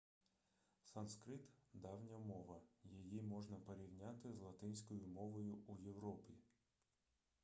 санскрит давня мова її можна порівняти з латинською мовою у європі